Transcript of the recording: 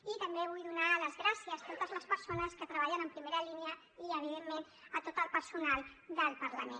i també vull donar les gràcies a totes les persones que treballen en primera línia i evidentment a tot el personal del parlament